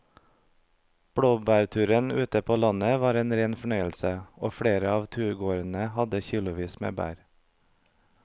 Blåbærturen ute på landet var en rein fornøyelse og flere av turgåerene hadde kilosvis med bær.